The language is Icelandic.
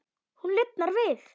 Hún lifnar við.